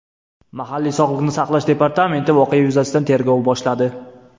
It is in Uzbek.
Mahalliy sog‘liqni saqlash departamenti voqea yuzasidan tergov boshladi.